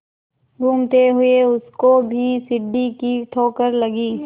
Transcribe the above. घूमते हुए उसको भी सीढ़ी की ठोकर लगी